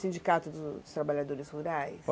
Sindicato dos Trabalhadores Rurais